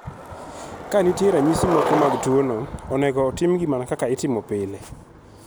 Ka nitie ranyisi mamoko mag tuono, onego otimgi mana kaka itimo pile.